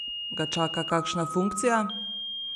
Ga čaka kakšna funkcija?